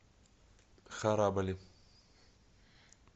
харабали